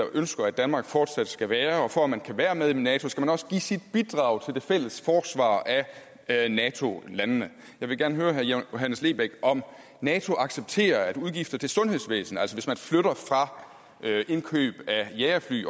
ønsker at danmark fortsat skal være det for at man kan være med i nato skal man også give sit bidrag til det fælles forsvar af nato landene jeg vil gerne høre herre johannes lebech om nato accepterer udgifter til sundhedsvæsenet altså hvis man flytter udgifter fra jagerfly